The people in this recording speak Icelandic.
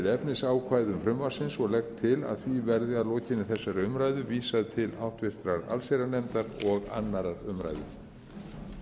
efnisákvæðum frumvarpsins og legg til að því verði að lokinni þessari umræðu vísað til háttvirtrar allsherjarnefndar og annarrar umræðu